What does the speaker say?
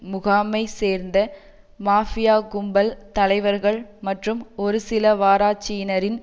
முகாமை சேர்ந்த மாஃபியா கும்பல் தலைவர்கள் மற்றும் ஒருசிலவராட்சியினரின்